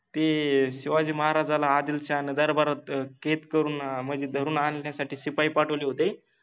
ते शिवाजि महाराजाला आदिलशाहान ते दरबारात कैद करुन मनजे धरुन आनण्यासाठि शिपाइ पाठवले होते